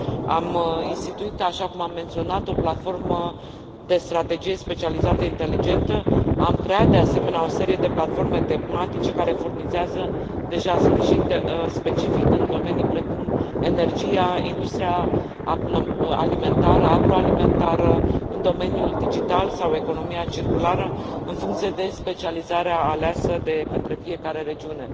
Am instituit, așa cum am menționat, o platformă de strategie specializată inteligentă, am creat, de asemenea, o serie de platforme tematice care furnizează deja sprijin specific în domenii precum energia, industria alimentară, agroalimentară, în domeniul digital sau economia circulară în funcție de specializarea aleasă de către fiecare regiune.